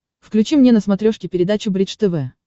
включи мне на смотрешке передачу бридж тв